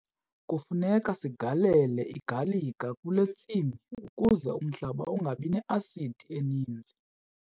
Kufuneka sigalele igalika kule ntsimi ukuze umhlaba ungabi ne-asidi eninzi.